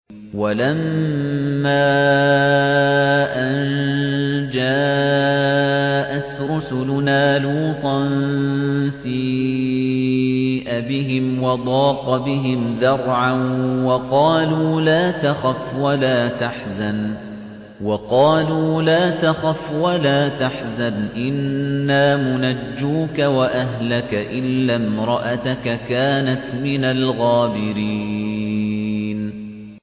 وَلَمَّا أَن جَاءَتْ رُسُلُنَا لُوطًا سِيءَ بِهِمْ وَضَاقَ بِهِمْ ذَرْعًا وَقَالُوا لَا تَخَفْ وَلَا تَحْزَنْ ۖ إِنَّا مُنَجُّوكَ وَأَهْلَكَ إِلَّا امْرَأَتَكَ كَانَتْ مِنَ الْغَابِرِينَ